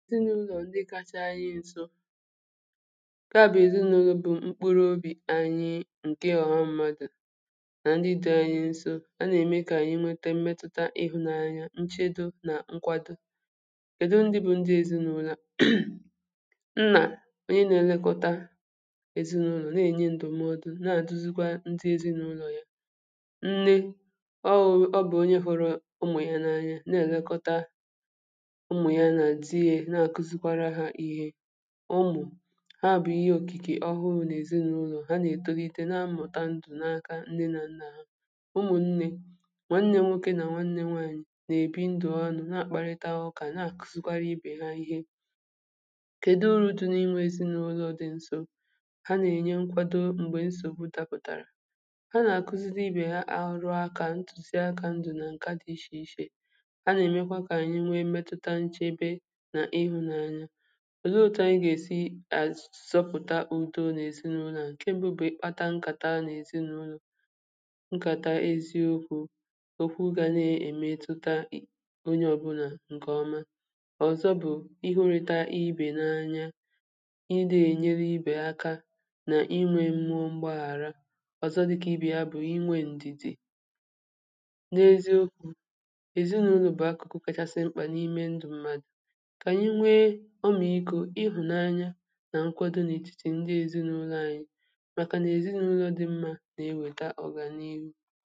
ezinụlọ ndị kacha anyị nso nka bụ ezinaụlọ bụ mkpụrụ obi anyị nke họọrọ mmadụ na ndị dị anyị nso a na-eme ka anyị metuta ịhụnanya nchedo na nkwado kedo ndị bụ ndị ezinaụlọ nà onye na-elekọta ezinaụlọ na-enye ndụmọdụ na-aduzigwa ndị ezinaụlọ ya nne ọ bụ onye hụrụ ụmụ ya n’anya na-elekọta ụmụ̀ haabụ̀ ihe òkìkè ọhụụ nà èzinụlọ̀ ha nà-etokite na mmụ̀ta ndụ̀ naaka nne na nnė nwanne nwokė na nwanne nwaanyị̀ na-èbi ndụ̀ anụ̀ na-àkparịta ọkà na àkùzikwarị ibè ha ihe kèdụ uru dị n’inwė ezinụlọ̀ dị nso ha nà-ènye nkwado m̀gbè nsògbu tàpụ̀tàrà ha nà-àkuzidi ibè ha àhụrụakȧ ntùzi akȧ ndụ̀ nà ǹka dị ishè ishè ọ zụ ụtụ̀ anyi gà-èsi azụ̀zọpụ̀ta udo n’èzinụlọ̀ à ǹke mbụ bụ̀ ịkpata nkàta nà èzinụlọ̀ nkàta eziokwu̇ okwu gà na-èmetụta onye ọbụlà ǹkèọma ọ̀zọ bụ̀ ịhụrị̇ta ibè n’anya ịdị̇ ènyere ibè aka nà inwė mmụọ m̀gbàghàra ọ̀zọ dịkà ibè ya bụ̀ inwė ǹdìdì n’eziokwu̇ èzinụlọ̀ bụ̀ akụkụ kachasi mkpà n’ime ndụ̀ mmadụ̀ nà nkwado n’etiti ndị èzinụlọ̀ ànyị̀ màkà nà èzinụlọ̀ dị mmȧ nà-eweta ọ̀gà n’ihu